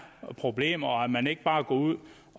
problemer og man går ikke bare ud